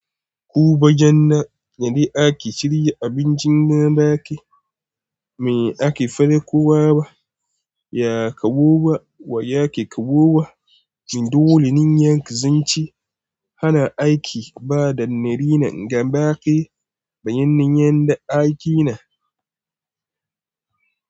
Ku bajen na, yadi ake shirya abincin na baƙi. Me ake fara kowa ba, ya kabo ba wa yake kabo wa. Shin dole nin yanke zance, hana aiki bada nari nan ga baƙi, bayyanin yanda ake nan.